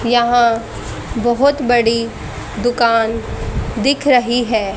यहां बहुत बड़ी दुकान दिख रही है।